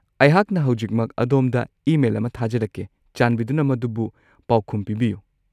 ꯑꯩꯍꯥꯛꯅ ꯍꯧꯖꯤꯛꯃꯛ ꯑꯗꯣꯝꯗ ꯏꯃꯦꯜ ꯑꯃ ꯊꯥꯖꯔꯛꯀꯦ꯫ ꯆꯥꯟꯕꯤꯗꯨꯅ ꯃꯗꯨꯕꯨ ꯄꯥꯎꯈꯨꯝ ꯄꯤꯕꯤꯌꯨ꯫